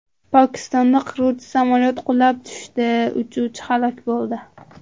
Pokistonda qiruvchi samolyot qulab tushdi, uchuvchi halok bo‘ldi.